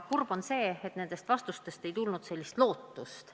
Kurb on see, et nendest vastustest ei tulnud erilist lootust.